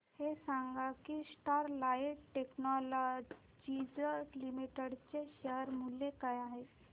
हे सांगा की स्टरलाइट टेक्नोलॉजीज लिमिटेड चे शेअर मूल्य काय आहे